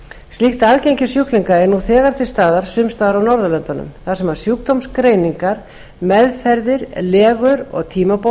slíkt aðgengi sjúklinga er nú þegar til staðar sums staðar á norðurlöndunum þar sem sjúkdómsgreiningar meðferðir legur og